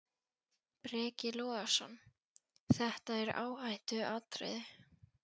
Breki Logason: Þetta er áhættuatriði?